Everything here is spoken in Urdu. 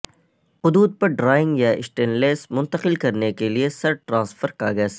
قددو پر ڈرائنگ یا سٹینلیس منتقل کرنے کے لئے سر ٹرانسفر کاغذ